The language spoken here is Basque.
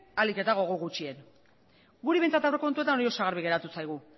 ahalik eta gogo gutxien guri behintzat aurrekontuetan hori oso garbi geratu zaigu